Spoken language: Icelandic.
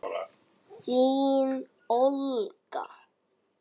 Þín Olga.